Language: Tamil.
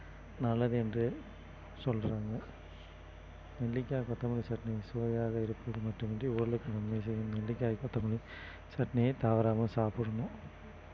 நல்லது என்று சொல்றாங்க நெல்லிக்காய், கொத்தமல்லி சட்னி சுவையாக இருப்பது மட்டுமின்றி உடலுக்கு நன்மை செய்யும் நெல்லிக்காய், கொத்தமல்லி சட்னியை தவறாம சாப்பிடணும்